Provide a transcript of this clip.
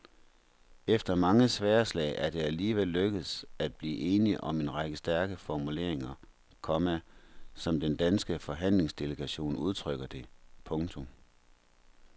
Efter mange sværdslag er det alligevel lykkedes at blive enige om en række stærke formuleringer, komma som den danske forhandlingsdelegation udtrykker det. punktum